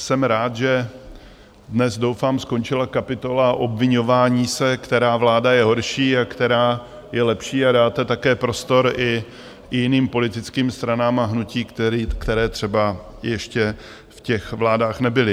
Jsem rád, že dnes, doufám, skončila kapitola obviňování se, která vláda je horší, a která je lepší, a dáte také prostor i jiným politickým stranám a hnutím, které třeba ještě v těch vládách nebyly.